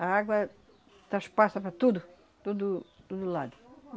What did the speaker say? A água transpassa para tudo, tudo, tudo lado.